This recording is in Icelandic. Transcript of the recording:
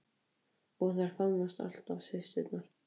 Og þær faðmast alltaf systurnar.